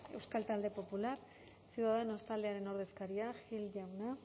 euskal talde popular ciudadanos taldearen ordezkaria gil jauna